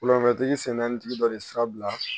Wulafɛtigi sen naani tigi dɔ ye sira bila